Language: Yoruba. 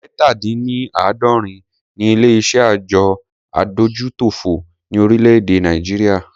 Ẹ̀ta- dín -ní -àádọ́rin ni ilé iṣé àjọ adójútòfò ni orílè-èdè Nàìjíríà.